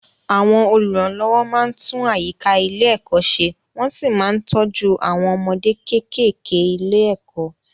Àwọn olùrànlọ́wọ́ máa ń tún àyíká ilé-ẹ̀kọ́ ṣẹ wọ́n sì máa ń tọ́jú àwọn ọmọdé kéékèèké ilé-ẹ̀kọ́.